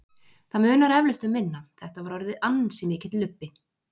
Það munar eflaust um minna, þetta var orðið ansi mikill lubbi.